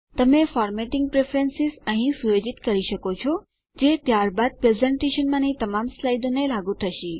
તમે formatting preferences અહીં સુયોજિત કરી શકો છો જે ત્યારબાદ પ્રેઝેંટેશનમાંની તમામ સ્લાઇડોને લાગુ થશે